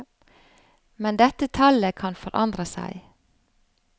Men dette tallet kan forandre seg.